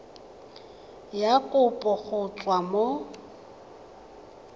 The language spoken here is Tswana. ya kopo go tswa mo